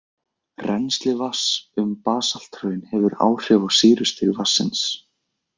Rennsli vatns um basalthraun hefur áhrif á sýrustig vatnsins.